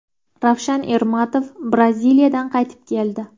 Ravshan Ermatov Braziliyadan qaytib keldi.